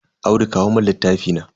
Audu kawo mun littafi na.